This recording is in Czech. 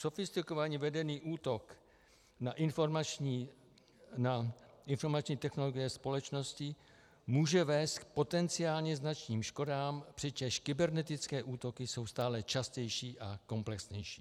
Sofistikovaně vedený útok na informační technologie společností může vést k potenciálně značným škodám, přičemž kybernetické útoky jsou stále častější a komplexnější.